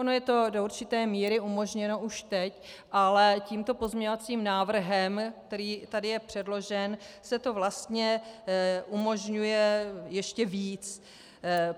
Ono je to do určité míry umožněno už teď, ale tímto pozměňovacím návrhem, který tady je předložen, se to vlastně umožňuje ještě víc.